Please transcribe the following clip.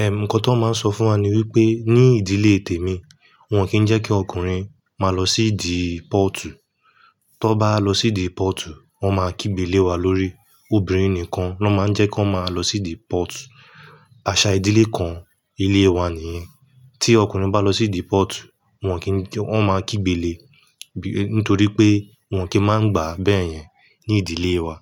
Eh, nǹkan tan máa n sọ fún wa ni wípé ní ìdílé tèmi, wọ́n o kìi n jẹ́ kí ọkùnrin máa lọ sí idí pọ̀ọ̀tù. Tan bá lọ sí idí pọ̀ọ̀tù, wọ́n máa kígbélè wa lórí. Obìnrin nìkan ló máa ń jẹ́ kọ́n máa lọ sí idí pọ̀ọ̀tù. Àṣà ìdílé kan ilé wa nì yẹn. Tí ọkùnrin bá lọ sí idí pọ̀ọ̀tù, wọn kì í n jẹ́-- wọ́n máa kígbélè-- nítorí pé wọn kì í máa ń gbà á bẹ́ẹ̀ yẹn ní ìdílé wa.